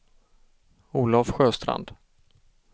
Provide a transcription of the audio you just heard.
Olov Sjöstrand